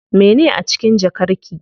Mene a cikin jakar ki?